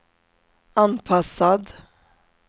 anpassad